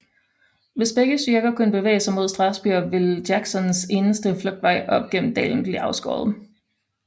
Hvis begge styrker kunne bevæge sig mod Strasburg ville Jacksons eneste flugtvej op gennem dalen blive afskåret